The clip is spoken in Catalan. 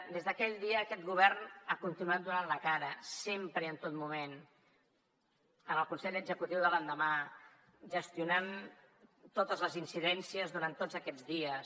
des d’aquell dia aquest govern ha continuat donant la cara sempre i en tot moment en el consell executiu de l’endemà gestionant totes les incidències durant tots aquests dies